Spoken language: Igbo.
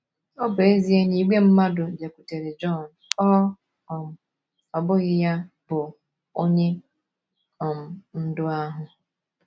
Ọ bụ ezie na ìgwè mmadụ bịakwutere Jọn, ọ um bụghị ya bụ um Onye um Ndú ahụ.